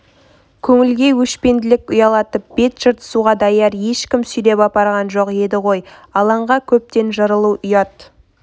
көңілге өшпенділік ұялатып бет жыртысуға даяр ешкім сүйреп апарған жоқ еді ғой алаңға көптен жырылу ұят